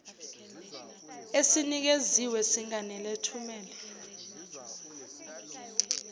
esinikeziwe singanele thumela